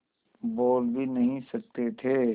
बोल भी नहीं सकते थे